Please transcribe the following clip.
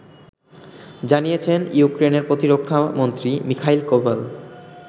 জানিয়েছেন ইউক্রেইনের প্রতিরক্ষামন্ত্রী মিখাইল কোভাল